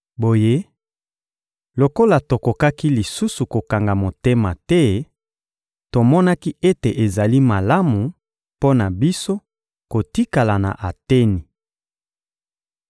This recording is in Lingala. Boye lokola tokokaki lisusu kokanga motema te, tomonaki ete ezali malamu mpo na biso kotikala na Ateni.